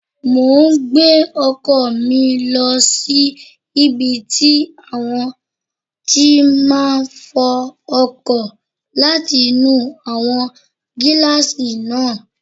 Mo n gbé ọkọ̀ mi lọ sí ibi tí wọ́n ti máa n fọ ọkọ̀ láti nu àwọn gílààsì náà